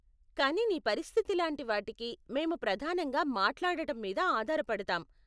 కానీ నీ పరిస్థితి లాంటి వాటికి మేము ప్రధానంగా మాట్లాడటం మీద ఆధార పడతాం.